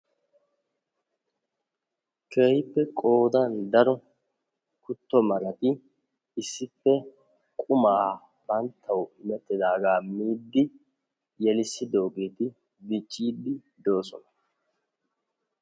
keehipe qoodani daro kuto marati issipe bantta qumaa miidi bettosona.